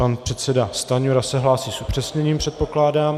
Pan předseda Stanjura se hlásí s upřesněním, předpokládám.